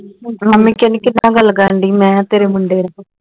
mummy ਕਹਿੰਦੀ ਕਿਹਦੇ ਨਾਲ ਗੱਲ ਕਰਨ ਡਈ ਮੈਂ ਕਿਹਾ ਤੇਰੇ ਮੁੰਡੇ ਨਾਲ